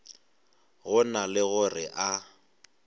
go na le gore a